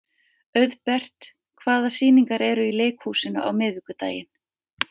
Auðbert, hvaða sýningar eru í leikhúsinu á miðvikudaginn?